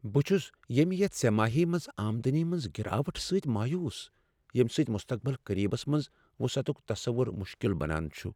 بہٕ چُھس ییمہِ یتھ سہ ماہی منٛز آمدنی منٛز گراوٹ سۭتۍ مایوس، ییمہ سۭتۍ مستقبل قریبس منز وسعتک تصوُر مُشکِل بنان چُھ ۔